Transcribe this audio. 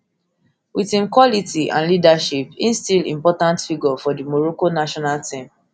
wit im quality and leadership im still important figure for di morocco national team